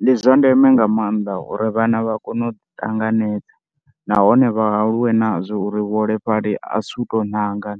Ndi zwa ndeme nga maanḓa uri vhana vha kone u ṱanganedza nahone vha aluwe nazwo uri vhaholefhali a si u tou anga,